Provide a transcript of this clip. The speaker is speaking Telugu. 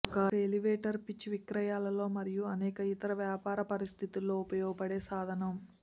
ఒక ఎలివేటర్ పిచ్ విక్రయాలలో మరియు అనేక ఇతర వ్యాపార పరిస్థితులలో ఉపయోగపడే సాధనం